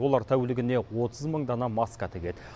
олар тәулігіне отыз мың дана маска тігеді